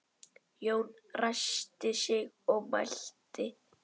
Jón ræskti sig og mælti